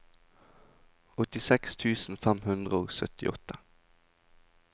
åttiseks tusen fem hundre og syttiåtte